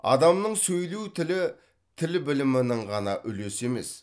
адамның сөйлеу тілі тіл білімінің ғана үлесі емес